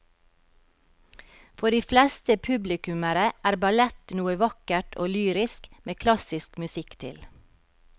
For de fleste publikummere er ballett noe vakkert og lyrisk med klassisk musikk til.